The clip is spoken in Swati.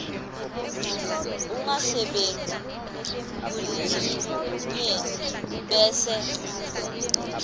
ungasebenti kulinyenti bese